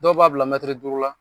Dɔw b'a bila mɛtiri duuru la